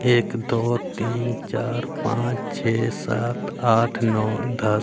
एक दो तीन चार पांच छः सात आठ नौ दस--